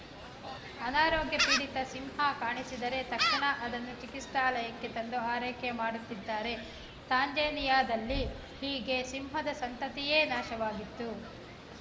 ಅನಾರೋಗ್ಯಪೀಡಿತ ಸಿಂಹ ಕಾಣಿಸಿದರೆ ತಕ್ಷಣ ಅದನ್ನು ಚಿಕಿತ್ಸಾಲಯಕ್ಕೆ ತಂದು ಆರೈಕೆ ಮಾಡುತ್ತಿದ್ದಾರೆ ತಾಂಜೇನಿಯಾದಲ್ಲಿ ಹೀಗೆ ಸಿಂಹದ ಸಂತತಿಯೇ ನಾಶವಾಗಿತ್ತು